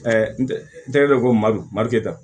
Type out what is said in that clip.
n tɛ n tɛgɛ don ko madu mariketa